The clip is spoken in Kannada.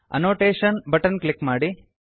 ಅನೋಟೇಶನ್ ಬಟನ್ ಕ್ಲಿಕ್ ಮಾಡಿ